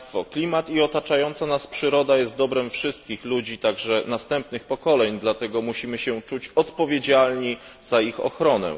Klimat i otaczająca nas przyroda są dobrem wszystkich ludzi, także następnych pokoleń, dlatego musimy się czuć odpowiedzialni za ich ochronę.